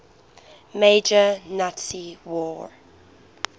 major nazi war